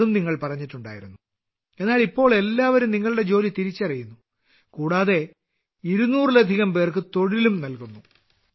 അതും നിങ്ങൾ പറഞ്ഞിട്ടുണ്ടായിരുന്നു എന്നാൽ ഇപ്പോൾ എല്ലാവരും നിങ്ങളുടെ ജോലി തിരിച്ചറിയുന്നു കൂടാതെ 200 ലധികം പേർക്ക് തൊഴിലും നൽകുന്നു